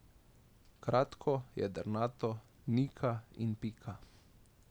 Kratko, jedrnato, Nika in pika.